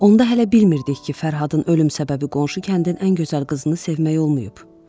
Onda hələ bilmirdik ki, Fərhadın ölüm səbəbi qonşu kəndin ən gözəl qızını sevmək olmayıb.